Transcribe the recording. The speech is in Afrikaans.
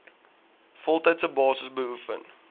voltydse basis beoefen